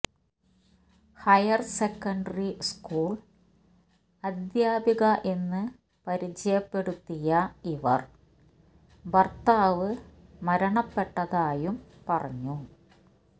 higher secondary school അധ്യാപിക എന്ന് പരിചയപ്പെടുത്തിയ ഇവർ ഭർത്താവ് മരണപ്പെട്ടതായും പറഞ്ഞു